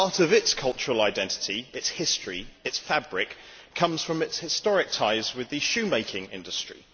Part of its cultural identity, its history, its fabric, comes from its historic ties with the shoemaking industry.